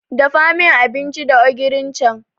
Dafa min abinci da ogirin can.